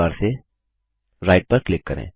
mail tool bar से right पर click करें